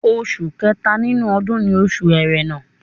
Oṣù kẹta nínú ọdún ni Oṣù Ẹrẹ́nà